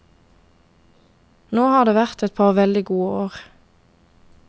Nå har det vært et par veldig gode år.